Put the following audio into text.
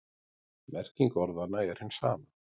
Merking orðanna er hin sama.